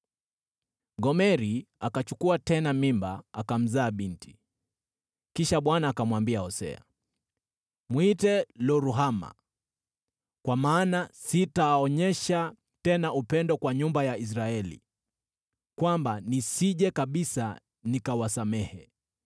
Gomeri akachukua tena mimba akamzaa binti. Kisha Bwana akamwambia Hosea, “Mwite Lo-Ruhama, kwa maana sitaonyesha tena upendo kwa nyumba ya Israeli, kwamba nisije kabisa nikawasamehe.